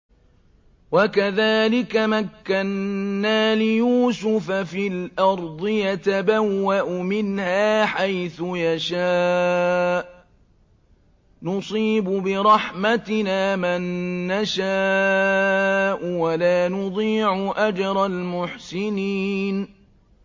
وَكَذَٰلِكَ مَكَّنَّا لِيُوسُفَ فِي الْأَرْضِ يَتَبَوَّأُ مِنْهَا حَيْثُ يَشَاءُ ۚ نُصِيبُ بِرَحْمَتِنَا مَن نَّشَاءُ ۖ وَلَا نُضِيعُ أَجْرَ الْمُحْسِنِينَ